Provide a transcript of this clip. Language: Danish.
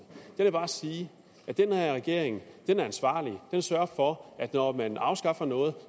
jeg vil bare sige at den her regering er ansvarlig den sørger for at når man afskaffer noget